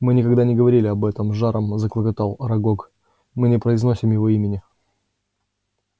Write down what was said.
мы никогда не говорим об этом с жаром заклокотал арагог мы не произносим его имени